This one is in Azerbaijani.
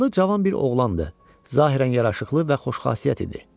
Atlı cavan bir oğlandı, zahirən yaraşıqlı və xoşxasiyyət idi.